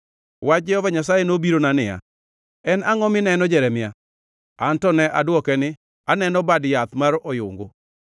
Wach Jehova Nyasaye nobirona niya: “En angʼo mineno, Jeremia?” Anto ne adwoke ni, “Aneno bad yath mar oyungu.”